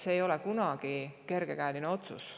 See ei ole kunagi kergekäeline otsus.